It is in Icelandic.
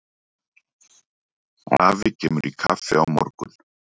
Afi kemur í kaffi á morgun.